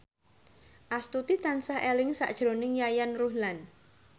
Astuti tansah eling sakjroning Yayan Ruhlan